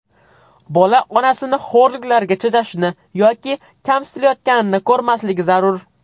Bola onasini xo‘rliklarga chidashini yoki kamsitilayotganini ko‘rmasligi zarur.